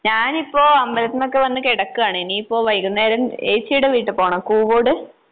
ഞാനിപ്പോ അമ്പലത്തിൽ നിന്നൊക്കെ വന്ന് കെടക്ക്വാണ്. ഇനിയിപ്പോ വൈകുന്നേരം ഏച്ചീടെ വീട്ടിൽ പോണം കൂകോട്.